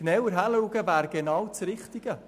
Genauer hinzusehen wäre genau das Richtige.